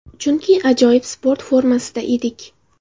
Chunki ajoyib sport formasida edik.